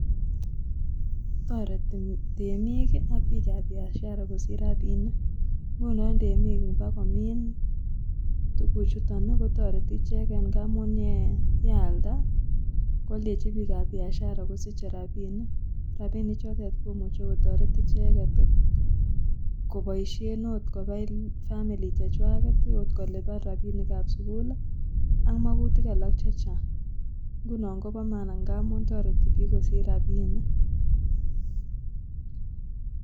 Toreti temik ak biikab 'biashara' kosich rapinik ngunon temik ibakomini tukuchuton kotoreti icheket ngamun yealda kwoldechi biikab 'biashara' kosiche rapinik rapinichotet komuche kotoret icheket koboisien akot kobai 'family' chechwaket, oot kolipan rapinikab sugul ak mokutik alak chechang ngunon kopo maana ngamun toreti biik kosich rapinik.